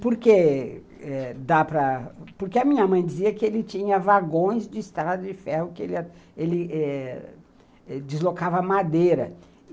Porque eh dá para, porque a minha mãe dizia que ele tinha vagões de estrada de ferro, que ele ele ele eh deslocava madeira.